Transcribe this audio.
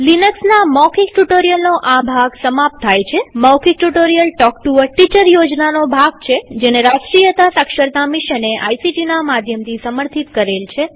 લિનક્સના મૌખિક ટ્યુ્ટોરીઅલનો આ ભાગ સમાપ્ત થાય છેમૌખિક tutorial talk to a teacher યોજનાનો ભાગ છેજેને રાષ્ટ્રીય સાક્ષરતા મિશને આઇસીટી ના માધ્યમથી સમર્થિત કરેલ છે